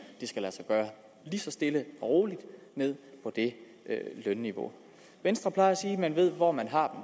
det så stille og roligt ned på det lønniveau venstre plejer at sige at man ved hvor man har